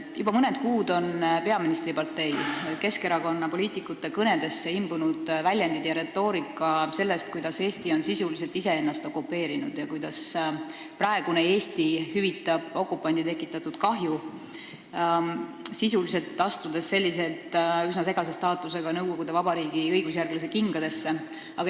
Juba mõned kuud on peaministripartei, Keskerakonna poliitikute kõnedesse imbunud sellised väljendid ja selline retoorika, et Eesti on sisuliselt ise ennast okupeerinud ja kuidas praegune Eesti hüvitab okupandi tekitatud kahju, astudes sellega sisuliselt üsna segase staatusega nõukogude vabariigi õigusjärglase kingadesse.